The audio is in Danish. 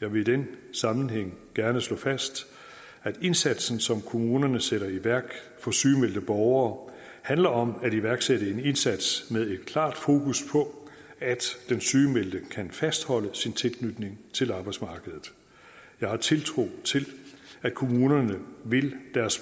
jeg vil i den sammenhæng gerne slå fast at indsatsen som kommunerne sætter i værk for sygemeldte borgere handler om at iværksætte en indsats med et klart fokus på at den sygemeldte kan fastholde sin tilknytning til arbejdsmarkedet jeg har tiltro til at kommunerne vil deres